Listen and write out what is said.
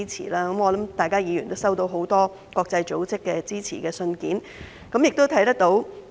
我相信各位議員都收到很多國際組織的支持信件，情況有目共睹。